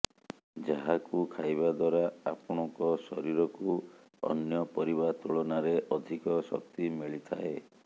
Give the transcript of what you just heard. ଯାହାକୁ ଖାଇବା ଦ୍ୱାରା ଆପଣଙ୍କ ଶରୀରକୁ ଅନ୍ୟ ପରିବା ତୁଳନାରେ ଅଧିକ ଶକ୍ତି ମିଳିଥାଏ